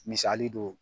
Misali don